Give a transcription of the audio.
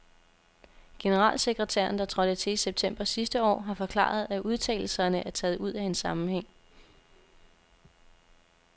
Generalsekretæren, der trådte til i september sidste år, har forklaret, at udtalelserne er taget ud af en sammenhæng.